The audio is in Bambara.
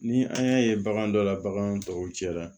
Ni an y'a ye bagan dɔ la baganw tɔw cɛ la